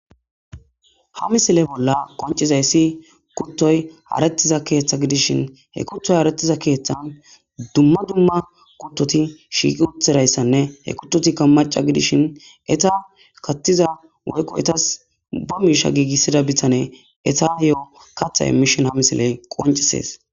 ha misile bolla qoncizayssi kuttoy arettiza keeththa gidishin he kuttoy harettiza keeththan dumma dumma kuttoti shiiqi uthirayssanne he kuttotikka maca gidishin eta kattiza woykqo etas ba miisha giigissida bittane eta ye7o katha emishin ha misiley qoncisees